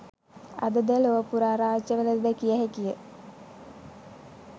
අද ද ලොව පුරා රාජ්‍යවලද දැකිය හැකිය